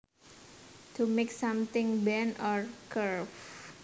To make something bend or curve